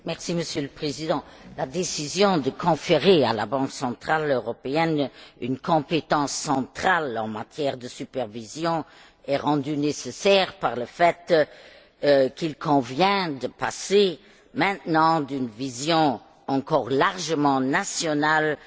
La décision de conférer à la Banque centrale européenne une compétence centrale en matière de supervision est rendue nécessaire par le fait qu'il convient, à présent, de passer d'une vision encore largement nationale de la supervision